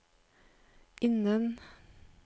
innen